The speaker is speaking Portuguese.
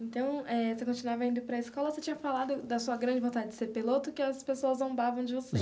Então eh, você continuava indo para escola, você tinha falado da sua grande vontade de ser piloto, que as pessoas zombavam de você.